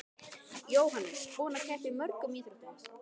Jóhannes: Búinn að keppa í mörgum íþróttum?